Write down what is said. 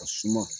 A suma